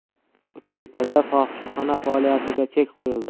Uchtepada fohishaxona faoliyatiga chek qo‘yildi.